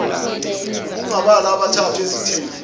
ubungabala abathathu ezitheni